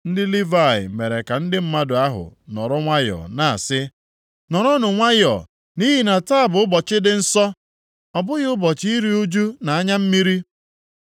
Ndị Livayị mere ka ndị mmadụ ahụ nọrọ nwayọọ, na-asị, “Nọrọnụ nwayọọ, nʼihi na taa bụ ụbọchị dị nsọ, ọ bụghị ụbọchị iru ụjụ na anya mmiri.”